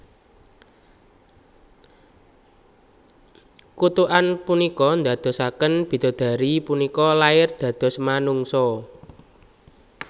Kutukan punika ndadosaken bidodari punika lair dados manungsa